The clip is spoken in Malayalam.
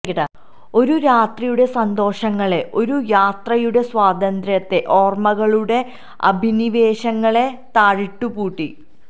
ഒരു രാത്രിയുടെ സന്തോഷങ്ങളെ ഒരു യാത്രയുടെ സ്വാതന്ത്ര്യത്തെ ഓര്മ്മകളുടെ അഭിനിവേശങ്ങളെ താഴിട്ടു പൂട്ടി